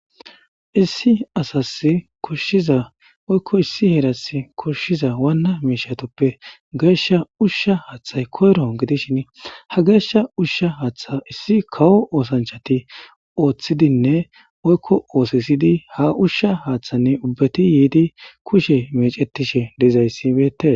issi asas koshshiza oykko issi heeras koshshiza waana meshatoppe geesha ushsha haaththay koyro gidishin ha geeshsha ushsha haaththa issi kawo oosanchati ooththidinne oykko oosisidi ha ushsha haaththanne ubbati yiidi kushe mecetishe diizayssibeete